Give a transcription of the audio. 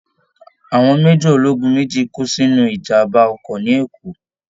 Àwọn major ológun mèjì kú sínú ìjàmbá ọkọ̀ ní Ekó